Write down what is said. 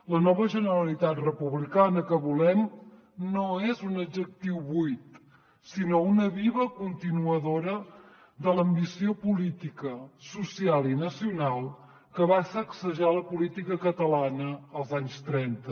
la nova generalitat republicana que volem no és un adjectiu buit sinó una viva continuadora de l’ambició política social i nacional que va sacsejar la política catalana als anys trenta